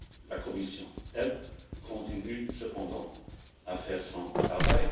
La Commission, de son côté, continue cependant à faire son travail.